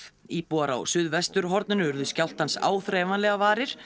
íbúar á Suðvesturhorninu urðu skjálftans áþreifanlega varir